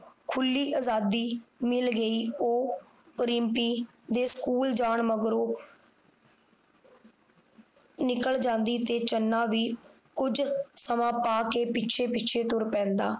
ਖੁਲੀ ਅਜਾਦੀ ਮਿਲ ਗਈ ਉਹ ਰਿਮਪੀ ਦੇ ਸਕੂਲ ਜਾਣ ਮਗਰੋਂ ਨਿਕਲ ਜਾਂਦੀ ਤੇ ਚੰਨਾ ਵੀ ਕੁਝ ਸਮਾਂ ਪਾ ਕੇ ਪਿੱਛੇ ਪਿੱਛੇ ਤੁਰ ਪੈਂਦਾ